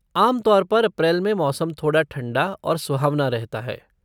आम तौर पर अप्रैल में मौसम थोड़ा ठंडा और सुहावना रहता है।